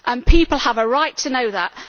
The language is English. People have a right to know that.